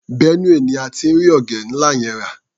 Benue ni a ti rí ọ̀gẹ̀dẹ́ ńlá yẹn rà.